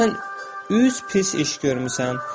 Deməli sən üç pis iş görmüsən.